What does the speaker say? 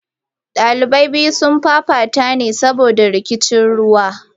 Daliban biyu sun fafata ne saboda rikicin ruwa.